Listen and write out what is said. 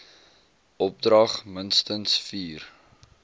opdrag minstens vier